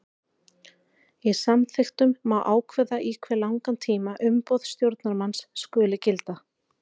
Í samþykktum má ákveða í hve langan tíma umboð stjórnarmanns skuli gilda.